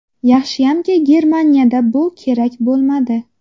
Yaxshiyamki, Germaniyada bu kerak bo‘lmadi.